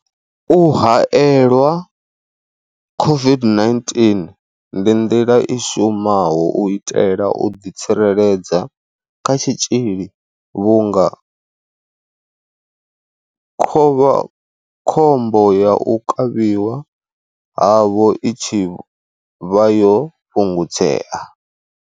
U haelelwa COVID-19 ndi nḓila i shumaho u itela u ḓitsireledza kha tshitzhili vhunga khovhakhombo ya u kavhiwa havho i tshi vha yo fhungudzea.